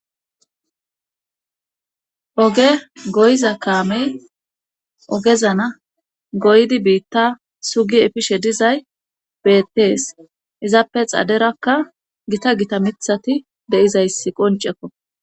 oge goyiza kaamey ogezana goydi biitta sugi efishe dizay beettees izappe xaderakka gita gita mithati de7izayssi qoncekko